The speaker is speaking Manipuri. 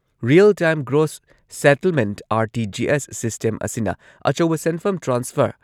real time gross settlement R T G S system ꯑꯁꯤꯅ ꯑꯆꯧꯕ ꯁꯦꯟꯐꯝ ꯇ꯭ꯔꯥꯟꯁꯐꯔ